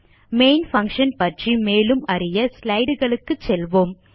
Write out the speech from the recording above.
main function பற்றி மேலும் அறிய ஸ்லைடு களுக்கு செல்வோம்